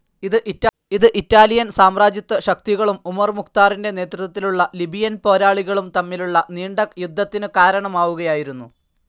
ഇത് ഇറ്റാലിയൻ സാമ്രാജ്യത്വശക്തികളും ഉമർ മുഖ്തറിൻ്റെ നേതൃത്വത്തിലുള്ള ലിബിയൻ പോരാളികളും തമ്മിലുള്ള നീണ്ട യുദ്ധത്തിനു കാരണമാവുകയായിരുന്നു.